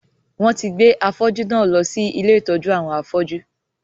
Wọn tí gbé afọ́jú náà lọ sí ilé ìtọ́jú àwọn afọ́jú